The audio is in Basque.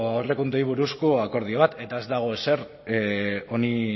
aurrekontuei buruzko akordio bat eta ez dago ezer honi